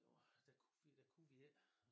Det var der ku vi der ku vi ikke